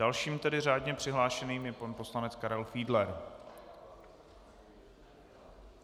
Dalším tedy řádně přihlášeným je pan poslanec Karel Fiedler.